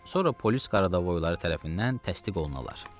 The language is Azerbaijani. sonra polis qaradavoyları tərəfindən təsdiq olunalar.